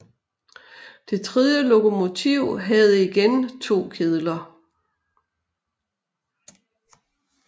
Det tredje lokomotiv havde igen to kedler